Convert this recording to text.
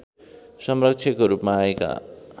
संरक्षकको रूपमा आएका